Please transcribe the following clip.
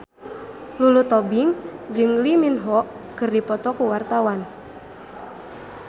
Lulu Tobing jeung Lee Min Ho keur dipoto ku wartawan